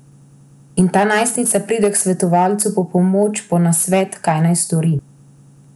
In ta najstnica pride k svetovalcu po pomoč, po nasvet, kaj naj stori.